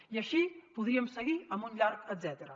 i així podríem seguir amb un llarg etcètera